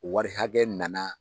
Wari hakɛ nana